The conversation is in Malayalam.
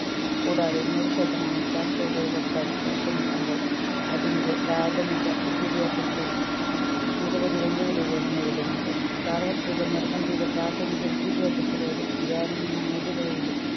കൂടാതെ നൂറ് ശതമാനം സാക്ഷരതയിലെത്താൻ പരിശ്രമിക്കുമ്പോൾ അതിൻെറ പ്രാഥമിക വിദ്യാഭ്യാസത്തെ നിരവധി വെല്ലുവിളികളും നേരിടുന്നുണ്ട് സാർവത്രിക നിർബന്ധിത പ്രാഥമിക വിദ്യാഭ്യാസത്തിലൂടെ ഗ്രാമീണ മേഖലയിലെ